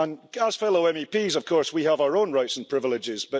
As fellow MEPs of course we have our own rights and privileges.